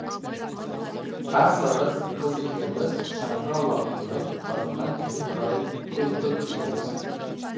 ақ сары қыз екеуміз шаңғы алаңының басынан төмен қарай құйғытып келеміз